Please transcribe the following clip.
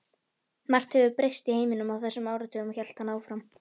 Margt hefur breyst í heiminum á þessum áratugum hélt hann áfram.